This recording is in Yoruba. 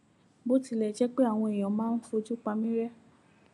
bó tilẹ jẹ pé àwọn èèyàn máa ń fojú pa mí ré